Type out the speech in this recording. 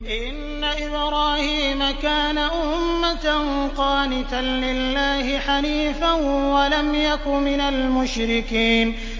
إِنَّ إِبْرَاهِيمَ كَانَ أُمَّةً قَانِتًا لِّلَّهِ حَنِيفًا وَلَمْ يَكُ مِنَ الْمُشْرِكِينَ